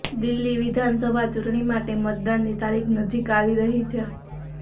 દિલ્લી વિધાનસભા ચૂંટણી માટે મતદાનની તારીખ નજીક આવી રહી છે